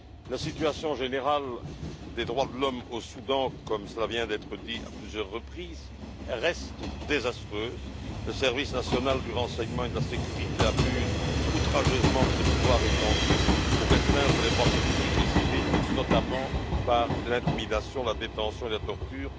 La situation générale des droits de l'homme au Soudan, comme cela vient d'être dit à plusieurs reprises, reste désastreuse. Le service national du renseignement et de la sécurité abuse outrageusement de ses pouvoirs étendus pour restreindre les droits politiques et civils, notamment par l'intimidation, la détention et la torture.